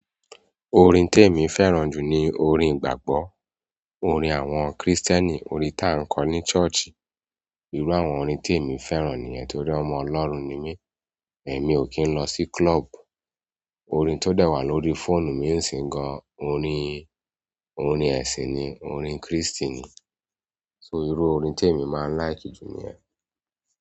Orin tí èmi fẹ́ràn jù ni orin ìgbàgbọ́, orin àwọn Krístẹ́nì, orin tí a ń kọ ní ṣọ́ọ̀ṣì. Irú àwọn orin tí èmi fẹ́ràn nìyẹn torí ọmọ Ọlọ́run ni mí, èmi ò kí ń lọ sí klọ́ọ̀bù. Orin tó dẹ̀ wà lórí fóònù mi ń ṣin gan-an orin, orin ẹ̀sìn ni, orin Krístì ni. So, irú orin tí èmi máa ń láìkì jù ni ẹ.